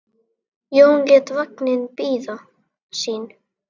Jón lét vagninn bíða sín.